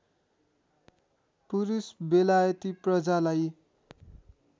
पुरुष बेलायती प्रजालाई